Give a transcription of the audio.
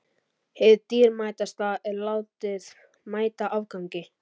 Hið dýrmætasta er látið mæta afgangi.